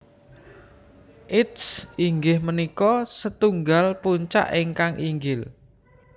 Its inggih punika setunggal puncak ingkang inggil